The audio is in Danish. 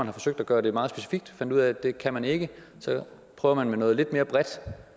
har forsøgt at gøre det meget specifikt fundet ud af at det kan man ikke så at prøve med noget lidt mere bredt